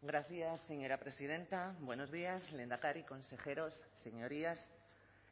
gracias señora presidenta buenos días lehendakari consejeros señorías